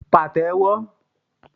pa té wọ